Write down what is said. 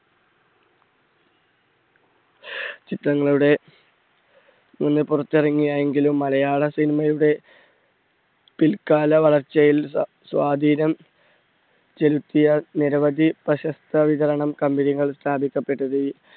ചിത്രങ്ങളുടെ പുറത്തിറങ്ങിയ എങ്കിലും മലയാള cinema യുടെ പിൽ കാല വളർച്ചയിൽ സ്വ~സ്വാധീനം ചെലുത്തിയ നിരവധി പ്രശസ്ത വിതരണ company കൾ സ്ഥാപിക്കപ്പെട്ടത്